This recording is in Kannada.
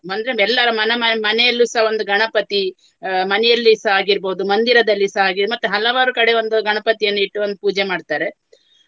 ಅಂದ್ರೆ ಮೆಲ್ಲರ ಮನ ಮ~ ಮನೆಯಲ್ಲುಸ ಒಂದು ಗಣಪತಿ ಅಹ್ ಮನೆಯಲ್ಲಿಸ ಆಗಿರ್ಬಹುದು ಮಂದಿರದಲ್ಲಿಸ ಹಾಗೆಯೇ. ಮತ್ತೆ ಹಲವಾರು ಕಡೆ ಒಂದು ಗಣಪತಿಯನ್ನು ಇಟ್ಟು ಒಂದು ಪೂಜೆ ಮಾಡ್ತಾರೆ.